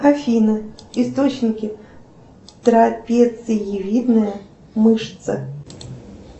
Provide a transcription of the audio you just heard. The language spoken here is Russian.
афина источники трапециевидная мышца